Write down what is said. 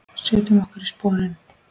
Setjum okkur í sporin.